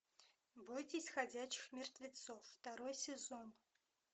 бойтесь ходячих мертвецов второй сезон